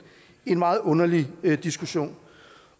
en meget underlig diskussion